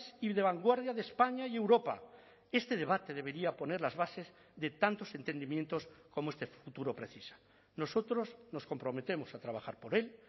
y de vanguardia de españa y europa este debate debería poner las bases de tantos entendimientos como este futuro precisa nosotros nos comprometemos a trabajar por él